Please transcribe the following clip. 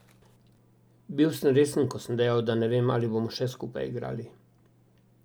Bil sem resen, ko sem dejal, da ne vem, ali bomo še skupaj igrali.